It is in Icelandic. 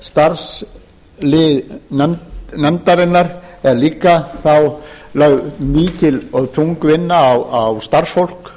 leið að starfslið nefndarinnar er líka þá er lögð mikil og þung vinna á starfsfólk